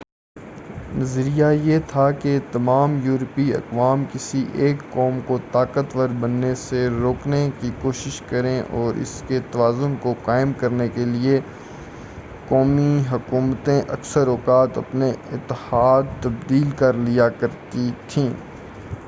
نظریہ یہ تھا کہ تمام یورپی اقوام کسی ایک قوم کو طاقتور بننے سے روکنے کی کوشش کریں اور اس لیے توازن کو قائم کرنے کے لیے قومی حکومتیں اکثر اوقات اپنے اتحاد تبدیل کر لیا کرتی تھیں